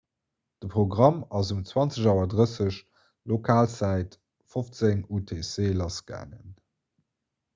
de programm ass um 20.30 auer lokalzäit 15.00 utc lassgaangen